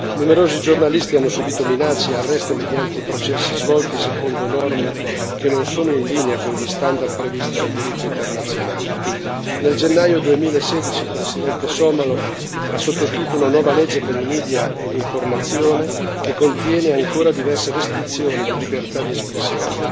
Numerosi giornalisti hanno subito minacce e arresti mediante processi svolti secondo norme che non sono in linea con gli standard previsti dal diritto internazionale. Nel gennaio 2016 il presidente somalo ha sottoscritto una nuova legge sui media e l'informazione che contiene ancora diverse restrizioni alla libertà di espressione.